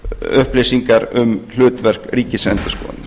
upplýsingar um hlutverk ríkisendurskoðun